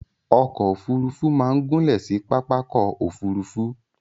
Okò òfurufú ma n gúnlè si pàpàkò òfurufú